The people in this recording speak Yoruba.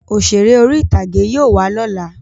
Òṣèré orí-ìtàgé yóò wá lọ́la